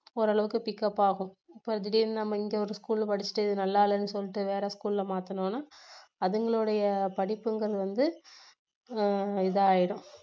ஓரளவுக்கு pickup ஆகும் இப்போ திடீர்ன்னு நம்ம இங்க ஒரு school ல படிச்சிட்டு நல்லா இல்லன்னு சொல்லிட்டு வேற school ல மாத்துனோம்னா அதுங்களுடைய படிப்புங்குறது வந்து ஆஹ் இதாயிடும்